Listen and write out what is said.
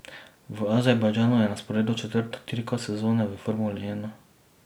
V Azerbajdžanu je na sporedu četrta dirka sezone v formuli ena.